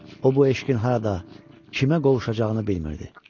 O bu eşqin harada, kimə qovuşacağını bilmirdi.